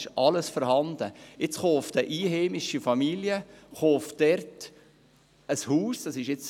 Nun konnten Einheimische eines dieser Chalets kaufen.